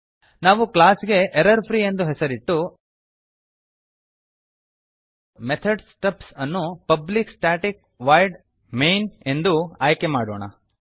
ನಾವು ಕ್ಲಾಸ್ ಗೆ error free ಎಂದು ಹೆಸರಿಟ್ಟು ಮೆಥಡ್ಸ್ ಸ್ಟಬ್ಸ್ ಅನ್ನು ಪಬ್ಲಿಕ್ ಸ್ಟಾಟಿಕ್ ವಾಯ್ಡ್ ಮೈನ್ ಎಂದು ಆಯ್ಕೆಮಾಡೋಣ